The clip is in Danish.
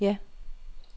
ja